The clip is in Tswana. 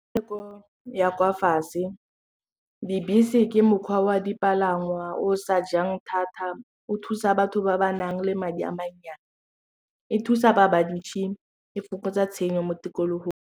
ya kwa fatshe, dibese ke mokgwa wa dipalangwa o sa jang thata o thusa batho ba ba nang le madi a mannyane e thusa ba ba ntšhi e fokotsa tshenyo mo tikologong.